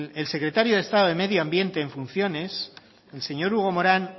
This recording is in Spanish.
el secretario de estado de medio ambiente en funciones el señor hugo morán